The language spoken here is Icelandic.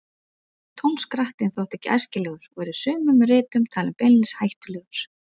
Tónskrattinn þótti ekki æskilegur og er í sumum ritum talinn beinlínis hættulegur.